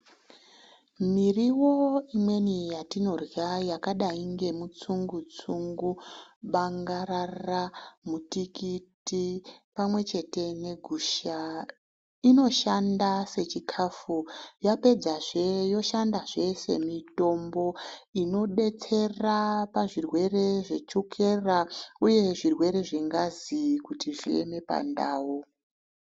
Miriwo imweni yatinorya yakadayi ngemutsungu-tsungu, bangarara mutikiti, pamwechete negusha inoshanda sechikafu, yapedzazve yoshandazve semitombo inobetsera zvirwere zvechukera uye zvirwere zvengazi kuti zvieme pandau.